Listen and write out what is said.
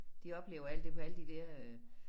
De oplever alt det på alle de der øh